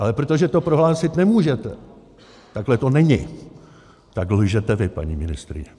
Ale protože to prohlásit nemůžete, takhle to není, tak lžete vy, paní ministryně.